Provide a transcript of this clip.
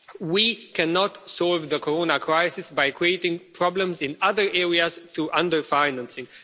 We cannot solve the coronavirus crisis by creating problems in other areas through under financing.